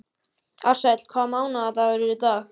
Ársæl, hvaða mánaðardagur er í dag?